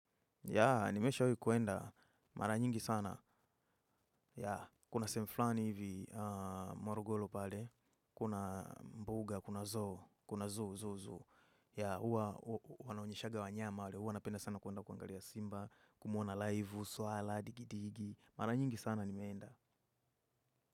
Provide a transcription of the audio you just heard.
Ya, nimeshawahi kwenda, mara nyingi sana. Ya, kuna sehemu fulani morugolo pale, kuna mbuga, kunazo, kuna zoo zoo. Ya, huwa wanaonyeshaga wanyama, huwa napenda sana kwenda kuangalia simba, kumuona live, swala, digi digi. Mara nyingi sana nimeenda.